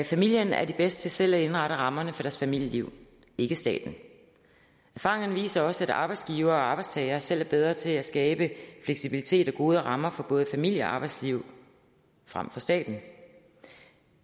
familierne er de bedste til selv at indrette rammerne for deres familieliv ikke staten erfaringerne viser også at arbejdsgivere og arbejdstagere selv er bedre til at skabe fleksibilitet og gode rammer for både familie og arbejdsliv frem for staten